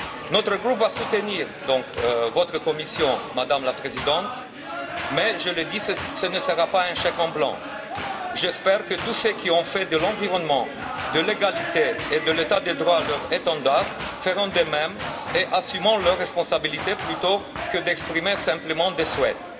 Notre groupe va donc soutenir votre Commission, Madame la Présidente. Je tiens cependant à dire que ce ne sera pas un chèque en blanc. J'espère que tous ceux qui ont fait de l'environnement, de l'égalité et de l'état de droit leur étendard feront de même et assumeront leur responsabilité plutôt que d'exprimer simplement des souhaits.